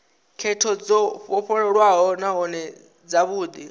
khetho dzo vhofholowaho nahone dzavhudi